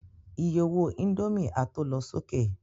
Iye owó indomie a tó lọ sókè